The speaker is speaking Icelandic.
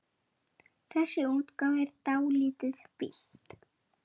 Þessi útgáfa er dálítið villt.